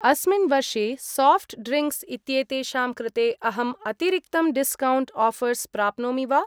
अस्मिन् वर्षे soft drinks इत्येतेषां कृते अहम् अतिरिक्तं डिस्कौण्ट् आऴर्स् प्राप्नोमि वा?